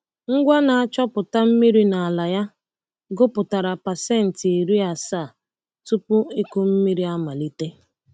Ngwa na-achọpụta mmiri n’ala ya gụpụtara pasent iri asaa tupu ịkụ mmiri amalite.